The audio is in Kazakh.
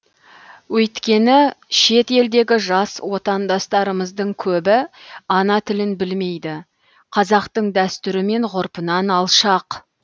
өйткені шет елдегі жас отандастарымыздың көбі ана тілін білмейді қазақтың дәстүрі мен ғұрпынан алшақ